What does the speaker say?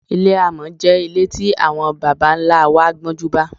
Ilé àmò̩ jé̩ ilé tí àwo̩n baba-ńlá wa gbó̩júnbá.